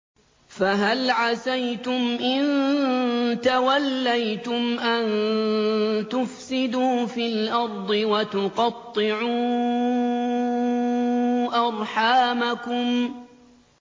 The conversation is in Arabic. فَهَلْ عَسَيْتُمْ إِن تَوَلَّيْتُمْ أَن تُفْسِدُوا فِي الْأَرْضِ وَتُقَطِّعُوا أَرْحَامَكُمْ